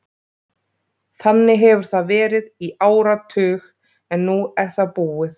Þannig hefur það verið í áratug en nú er það búið.